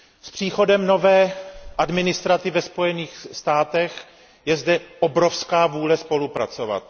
S příchodem nové administrativy ve Spojených státech je zde obrovská vůle spolupracovat.